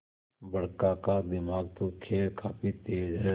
बड़का का दिमाग तो खैर काफी तेज है